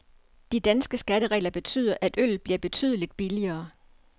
De danske skatteregler betyder, at øllet bliver betydeligt billigere.